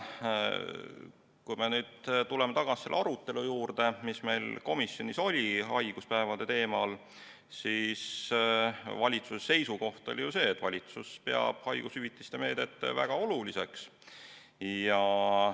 Kui me nüüd tuleme tagasi selle arutelu juurde, mis meil komisjonis oli haiguspäevade teemal, siis valitsuse seisukoht oli ju see, et valitsus peab haigushüvitise meedet väga oluliseks.